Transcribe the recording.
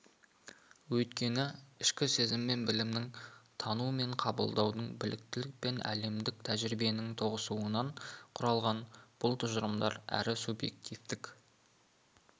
өйткені ішкі сезім мен білімнің тану мен қабылдаудың біліктілік пен әлемдік тәжірибенің тоғысуынан құралған бұл тұжырымдар әрі субъективтік